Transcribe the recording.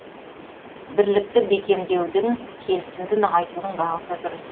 бірлікті бекемдеудің келісімді нығайтудың бағыты дұрыс